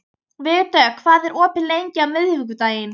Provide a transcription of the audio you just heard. Vígdögg, hvað er opið lengi á miðvikudaginn?